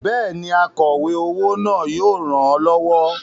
Bẹ́ẹ̀ni, akọ̀we owó náà yóò ràn ọ́ lọ́wọ́.